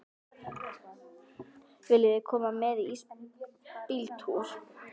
Viljiði koma með í ísbíltúr?